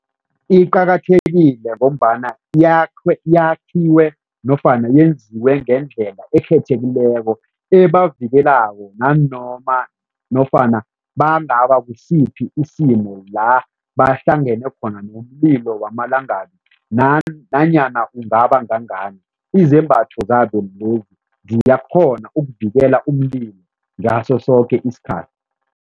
Iqakathekile ngombana yakhwe yakhiwe nofana yenziwe ngendlela ekhethekileko ebavikelako nanoma nofana bangaba kusiphi isimo la bahlangene khona nomlilo wamalangabi nanyana ungabangangangani, izembatho zabo lezi ziyakghona ukuvikela umlilo ngaso soke isikhathi.